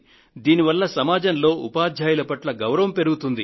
దీనివల్ల సమాజంలో ఉపాధ్యాయుల పట్ల గౌరవం పెరుగుతుంది